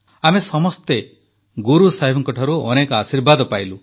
ଆମେ ସମସ୍ତେ ଗୁରୁ ସାହେବଙ୍କଠାରୁ ଅନେକ ଆଶୀର୍ବାଦ ପାଇଲୁ